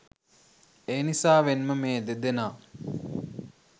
එනිසාවෙන්ම මේ දෙදෙනා